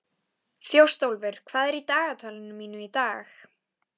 Þjóstólfur, hvað er í dagatalinu mínu í dag?